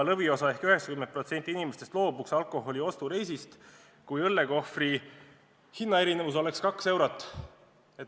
Lõviosa ehk 90% inimestest loobuks alkoholiostureisist, kui õllekohvri hinna erinevus oleks 2 eurot.